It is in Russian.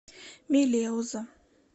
мелеуза